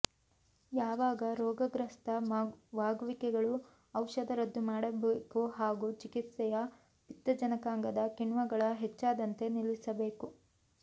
ಯಾವಾಗ ರೋಗಗ್ರಸ್ತವಾಗುವಿಕೆಗಳು ಔಷಧ ರದ್ದು ಮಾಡಬೇಕು ಹಾಗೂ ಚಿಕಿತ್ಸೆಯ ಪಿತ್ತಜನಕಾಂಗದ ಕಿಣ್ವಗಳ ಹೆಚ್ಚಾದಂತೆ ನಿಲ್ಲಿಸಬೇಕು